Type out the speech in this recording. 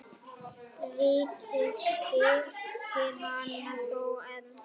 Ríkið styrkir hana þó enn.